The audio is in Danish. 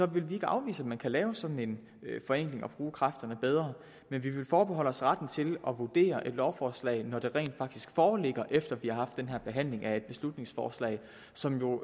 vil vi ikke afvise at man kan lave sådan en forenkling og bruge kræfterne bedre men vi vil forbeholde os retten til at vurdere et lovforslag når det rent faktisk foreligger efter vi har haft den her behandling af et beslutningsforslag som jo